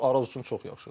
Bu Araz üçün çox yaxşıdır.